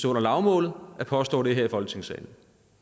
under lavmålet at påstå det her i folketingssalen